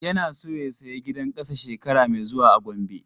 Yana so ya saya gidan ƙasa shekara mai zuwa a Gombe.